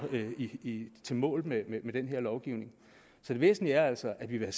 i mål med den her lovgivning så det væsentlige er altså at vi vil